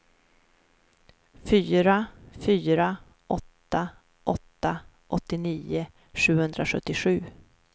fyra fyra åtta åtta åttionio sjuhundrasjuttiosju